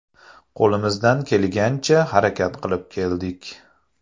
Qo‘limizdan kelgancha harakat qilib keldik.